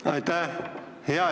Aitäh!